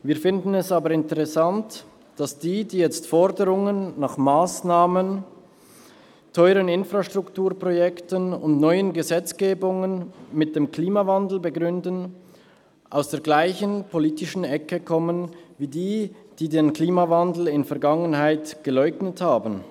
Wir finden es aber interessant, dass diejenigen, die jetzt Forderungen nach Massnahmen zu ihren Infrastrukturprojekten und neuen Gesetzgebungen mit dem Klimawandel begründen, aus der gleichen politischen Ecke kommen, wie diejenigen, die den Klimawandel in der Vergangenheit geleugnet haben.